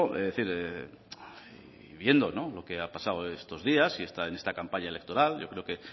es decir y viendo lo que ha pasado estos días y en esta campaña electoral yo creo que